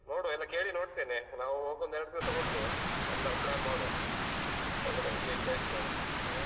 ನೋಡುವ ಎಲ್ಲ ಕೇಳಿ ನೋಡ್ತೇನೆ ನಾವು ಹೋಗೋ ಒಂದು ಎರಡ್ ದಿವ್ಸ ಮೊದ್ಲು ಎಲ್ಲ plan ಮಾಡುವ ಎಲ್ಲರತ್ರ ವಿಚಾರಿಸ್ತೇನೆ ಹ್ಮ್.